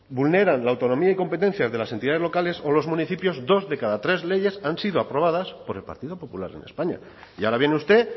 vulneran la autonomía y competencias de las entidades locales o los municipios dos de cada tres leyes han sido aprobadas por el partido popular en españa y ahora viene usted